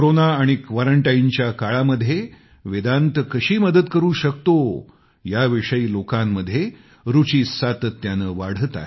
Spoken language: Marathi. कोरोना आणि क्वारंटाइनच्या काळामध्ये वेदांत कशी मदत करू शकतो या विषयी लोकांमध्ये रूची सातत्याने वाढतेय